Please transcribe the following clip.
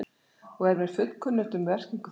og er mér fullkunnugt um merkingu þess.